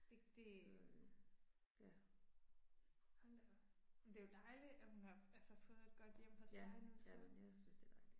Det det. Hold da op. Men det jo dejligt at hun har altså fået et godt hjem hos dig nu så